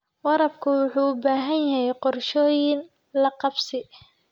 Waraabka wuxuu u baahan yahay qorshooyin la qabsi.